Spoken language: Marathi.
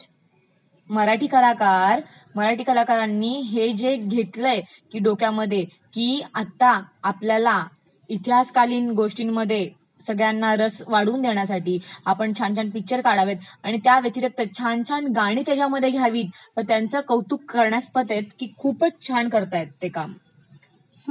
आणि मराठी कलाकरा ...मराठी कलाकरांनी हे जे घेतलय डोक्यामध्ये की आता आपल्याला इतिहासकालिन गोष्टांमध्ये सगळ्यांना रस वाढवून देण्यासाठी आपण छान छान पिक्चर काढावेत, त्याव्यतिरीक्त छान छान गाणी त्याच्यामध्ये घ्यावी, मग त्यांचे कौतुक करण्यस्पद आहे की खूपचं छान करतायत ते काम